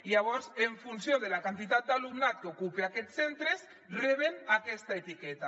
llavors en funció de la quantitat d’alumnat que ocupa aquests centres reben aquesta etiqueta